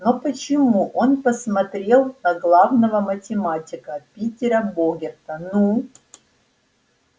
но почему он посмотрел на главного математика питера богерта ну